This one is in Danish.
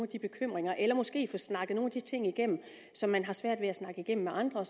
bekymringer eller måske få snakket nogle af de ting igennem som man har svært ved at snakke med andre